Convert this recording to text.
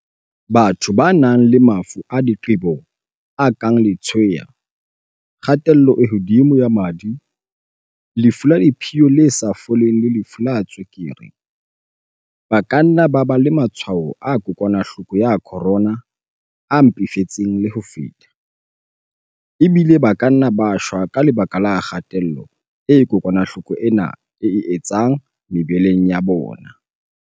Batho ba nang le mafu a diqebo a kang letshweya, kgatello e hodimo ya madi, lefu la diphio le sa foleng le lefu la tswe-kere, ba ka nna ba ba le matshwao a kokwana-hloko ya corona, CO-VID-19, a mpefetseng le ho feta, ebile ba ka nna ba shwa ka lebaka la kga-tello eo kokwanahloko ena e e etsang mebeleng ya bona.